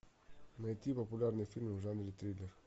найти популярные фильмы в жанре триллер